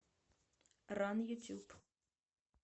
ран ютуб